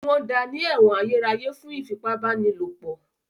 Wọ́n da ní ẹ̀wọ̀n ayérayé fún ìfipábánilòpọ̀.